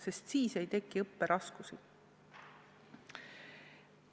Sest siis ei teki õpiraskusi.